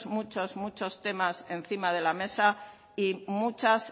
muchos muchos temas encima de la mesa y muchas